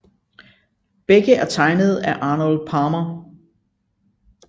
Begge er tegnet af Arnold Palmer